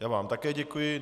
Já vám také děkuji.